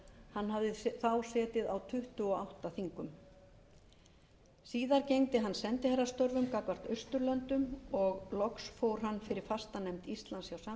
hann hafði þá setið á tuttugu og átta þingum síðar gegndi hann sendiherrastörfum gagnvart austurlöndum og loks fór hann fyrir fastanefnd íslands hjá sameinuðu þjóðunum í new